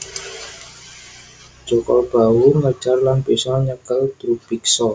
Jaka Bahu ngejar lan bisa nyekel Drubiksa